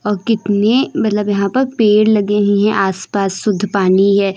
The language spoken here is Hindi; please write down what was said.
और कितने मतलब यहां पर पेड़ लगे हैं आस पास शुद्ध पानी है?